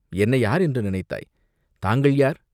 என்னை யார் என்று நினைத்தாய்!" "தாங்கள் யார்?